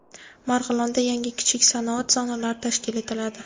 Marg‘ilonda yangi kichik sanoat zonalari tashkil etiladi.